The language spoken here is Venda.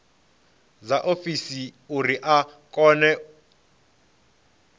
dza tshiofisi uri a kone